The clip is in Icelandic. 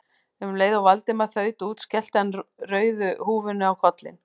Um leið og Valdimar þaut út skellti hann rauðu húfunni á kollinn.